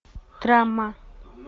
драма